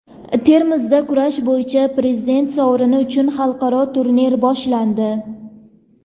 Termizda kurash bo‘yicha Prezident sovrini uchun xalqaro turnir boshlandi.